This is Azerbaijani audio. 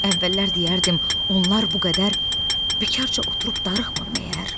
Əvvəllər deyərdim onlar bu qədər bikarca oturub darıxmır məyər?